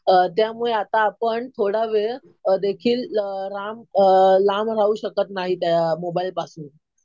त्यामुळे आता आपण थोडा वेळ देखील लांब राहू शकत नाही त्या मोबाईलपासून.